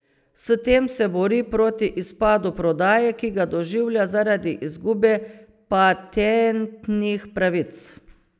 S tem se bori proti izpadu prodaje, ki ga doživlja zaradi izgube patentnih pravic.